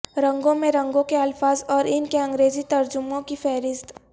رنگوں میں رنگوں کے الفاظ اور ان کے انگریزی ترجمہوں کی فہرست